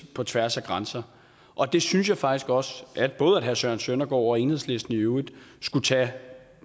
på tværs af grænser og det synes jeg faktisk også både herre søren søndergaard og enhedslisten i øvrigt skulle tage